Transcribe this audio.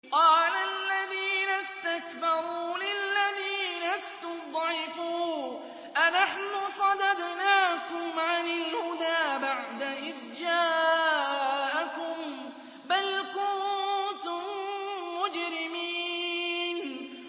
قَالَ الَّذِينَ اسْتَكْبَرُوا لِلَّذِينَ اسْتُضْعِفُوا أَنَحْنُ صَدَدْنَاكُمْ عَنِ الْهُدَىٰ بَعْدَ إِذْ جَاءَكُم ۖ بَلْ كُنتُم مُّجْرِمِينَ